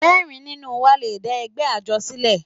Mẹ́rin nínú wa le dá ẹgbẹ́ àjọ sílẹ̀.